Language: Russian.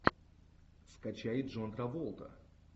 скачай джон траволта